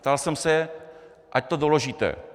Ptal jsem se, ať to doložíte.